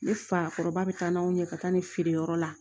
Ne fa kɔrɔba bɛ taa n'aw ye ka taa ni feere yɔrɔ la